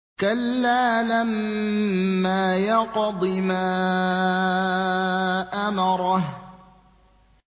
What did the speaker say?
كَلَّا لَمَّا يَقْضِ مَا أَمَرَهُ